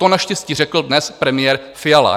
To naštěstí řekl dnes premiér Fiala.